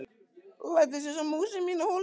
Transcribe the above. Læddist einsog mús í mína holu.